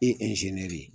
I ye de ye